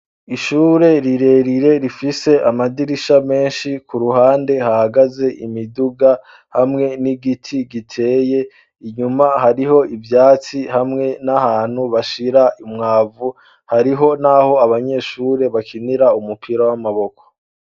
Ishure rirerire rifise amadirisha meshi ku ruhande hahagaze imiduga hamwe n'igiti giteye inyuma hariho ivyatsi hamwe n'ahantu bashira imwavu hariho naho abanyeshure bakinira umupira w'amaboko.